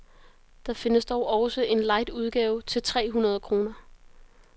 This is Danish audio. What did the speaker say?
Det findes dog også i en light udgave til tre hundrede kroner.